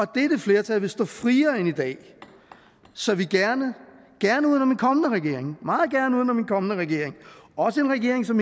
dette flertal vil stå friere end i dag så vi gerne meget gerne uden om en kommende regering også en regering som